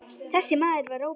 Þessi maður var Róbert.